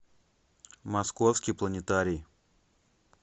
московский планетарий